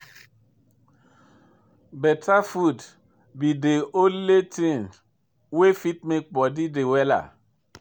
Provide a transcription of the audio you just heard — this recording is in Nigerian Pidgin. Better food be dey only thing wey fit make body dey wella.